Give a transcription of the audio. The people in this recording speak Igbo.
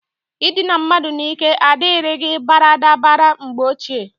Idina mmadu n'ike adirigi baradabara mgbe ochie.